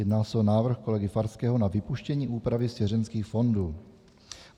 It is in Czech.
Jedná se o návrh kolegy Farského na vypuštění úpravy svěřenských fondů.